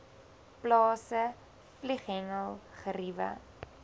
plase vlieghengel geriewe